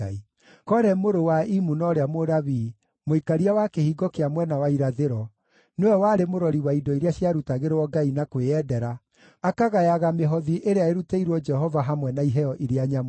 Kore mũrũ wa Imuna ũrĩa Mũlawii, mũikaria wa Kĩhingo kĩa Mwena wa Irathĩro, nĩwe warĩ mũrori wa indo iria ciarutagĩrwo Ngai na kwĩyendera, akagayaga mĩhothi ĩrĩa ĩrutĩirwo Jehova hamwe na iheo iria nyamũre.